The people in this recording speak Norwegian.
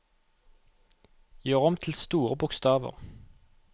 Gjør om til store bokstaver